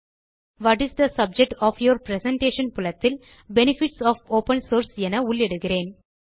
what is the subject of your presentation புலத்தில் benefits of open source என உள்ளிடுகிறேன்